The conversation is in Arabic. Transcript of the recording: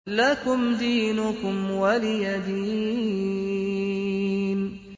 لَكُمْ دِينُكُمْ وَلِيَ دِينِ